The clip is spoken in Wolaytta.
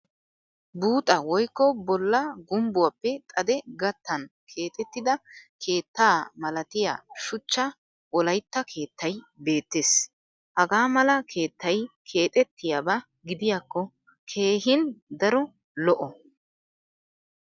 Buuxa woykko bolla gumbbuwappe xadee gattana keexettiidda keettaa malatiya shuchcha wolaytta keettay beettes. Hagaa mala keettay keexettiyaaba gidiyaakko keehin daro lo'o.